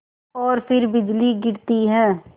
और फिर बिजली गिरती है